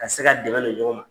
Ka se ka dɛmɛ don ɲɔgɔn ma.